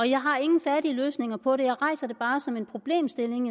jeg har ingen færdige løsninger på det jeg rejser det bare som en problemstilling